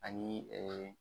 Ani